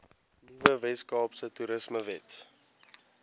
nuwe weskaapse toerismewet